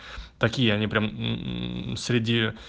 такие они прям среди